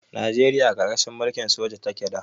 Najeriya a ƙarƙashin mulkin soji take da.